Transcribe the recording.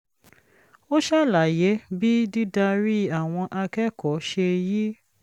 ó ṣàlàyé bí dídarí àwọn akẹ́kọ̀ọ́ ṣe yí